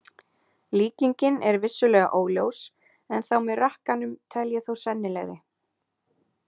Líkingin er vissulega óljós en þá með rakkanum tel ég þó sennilegri.